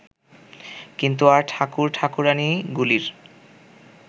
কিন্তু আর ঠাকুর ঠাকুরাণীগুলির